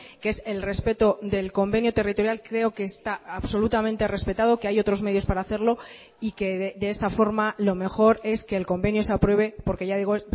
que es el respeto del convenio territorial creo que está absolutamente respetado que hay otros medios para hacerlo y que de esta forma lo mejor es que el convenio se apruebe porque ya digo